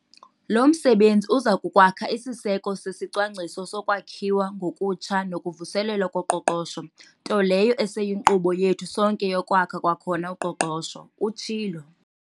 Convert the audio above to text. "Lo msebenzi uza kukwakha isiseko sesiCwangciso soKwakhiwa ngokuTsha nokuVuselelwa koQoqosho, nto leyo eseyinkqubo yethu sonke yokwakha kwakhona uqoqosho," utshilo.